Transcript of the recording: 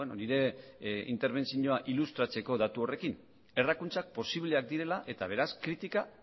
nire interbentzioa ilustratzeko datu horrekin errakuntzak posibleak direla eta beraz kritika